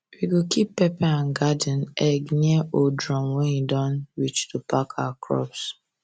we go keep pepper and garden egg near old drum when e don reach to pack our crops